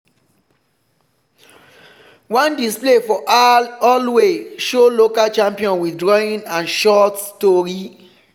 one display for hallway show local champion with drawing and short tori.